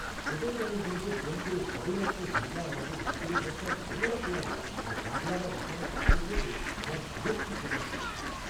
Hotel ম্যানেজমেন্টে phone করে সবেমাত্র ঢোকা আমাদের হোটেল ঘরটার নোংরা তোয়ালে আর দাগ লাগা বিছানার চাদর দেখে আমার বিরক্তি প্রকাশ করেছি।